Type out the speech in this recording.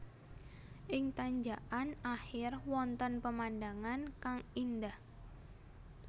Ing tanjakkan akhir wonten pemandangan kang indah